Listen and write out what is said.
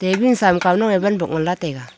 win sam kau nange wan box ngan la taiga.